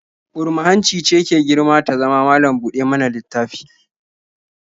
Burma-hanci ce ke girma ta zama malam-buɗa-mana-littafi